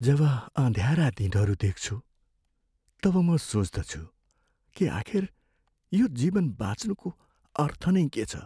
जब अँध्यारा दिनहरू देख्छु तब म सोच्दछु कि आखिर यो जीवन बाँच्नुको अर्थ नै के छ।